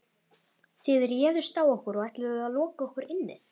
Þið réðust á okkur og ætluðuð að loka okkur inni.